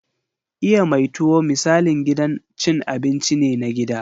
Iya mai tuwo misalin gidan cin abinci ne na gida.